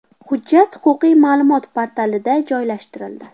Hujjat Huquqiy ma’lumot portalida joylashtirildi .